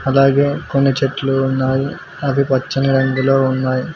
అలాగే కొన్ని చెట్లు ఉన్నాయి అవి పచ్చని రంగులో ఉన్నాయి.